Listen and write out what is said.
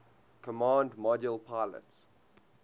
command module pilot